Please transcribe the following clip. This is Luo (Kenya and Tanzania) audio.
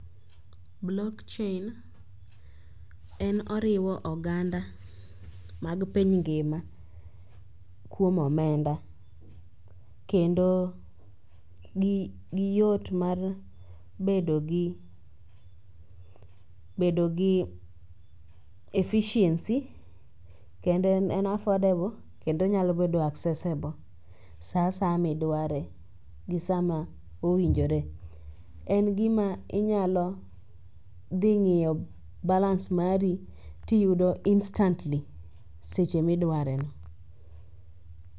Blokchein en oriwo oganda mag piny ngima kuom omenda kendo giyot mar bedo gi efficiency kendo en affordable kendo onyalo bedo accessible sa asaya midware gi sama owinjore. En gima inyalo dhing'iyo balans mari tiyudo instantly seche midwareno.